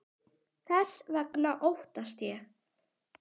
Þess vegna óttast ég.